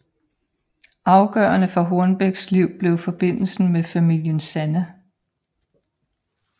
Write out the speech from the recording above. Afgørende for Hornbecks liv blev forbindelsen med familien Sanne